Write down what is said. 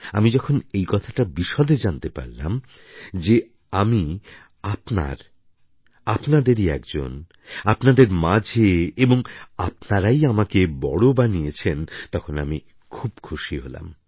আমি যখন এই কথাটা বিশদে জানতে পারলাম যে আমি আপনার আপনাদেরই একজন আপনাদের মাঝে এবং আপনারাই আমাকে বড় বানিয়েছেন তখন আমি খুব খুশি হলাম